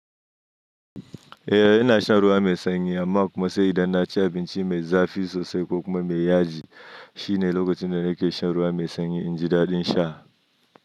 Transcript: Eh ina shan ruwa mai sanyi amma kuma sai idan na ci abinci mai zafi sosai ko kuma mai yaji. Shine lokacin da nake shan ruwa mai sanyi in ji daɗin sha.